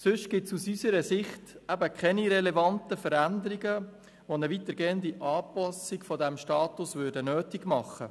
Ansonsten gibt es aus unserer Sicht keine relevanten Veränderungen, welche eine weitergehende Anpassung dieses Status erfordern würden.